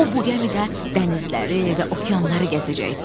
O bu gəmidə dənizləri və okeanları gəzəcəkdi.